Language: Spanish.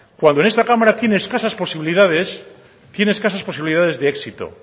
cuando en esta cámara tiene escasas posibilidades de éxito